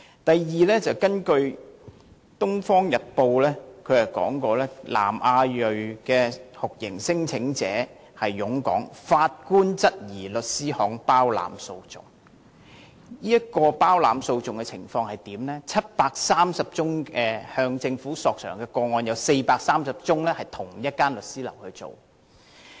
第二，根據《東方日報》的報道，南亞裔酷刑聲請者湧港，法官質疑律師行包攬訴訟，包攬訴訟的情況是在730宗向政府索償的個案中，有430宗由同一律師行處理。